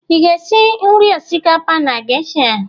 Ị ga-esi nri osikapa na geisha?